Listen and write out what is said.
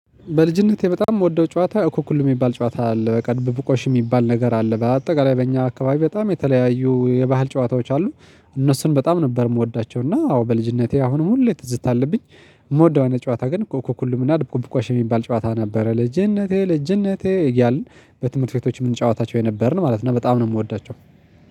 በልጅነቴ በጣም የምወደው ጨዋታ አኩኩሉ የሚባል ጨዋታ አለ በቃ ድብብቆሽ የሚባል ነገር አለ። በአጠቃላይ በእኛ አካባቢ በጣም የተለያዩ የባህል ጨዋታዎች አሉ። እነሱን በጣም ነበር የምወዳቸው እና አዎ በልጅነቴ አሁንም ሁሌ ትዝታ አለብኝ። የምወደው አይነት ጨዋታ ግን ኮኮኩሉም እና ድብብቆሽ የሚባል ጨዋታ ነበረ። ልጅነቴ ልጅነቴ እያልን በትምህርት ቤቶች የምንጫወታቸው የነበርን ማለት ነው። እና በጣም ነው የምወዳቸው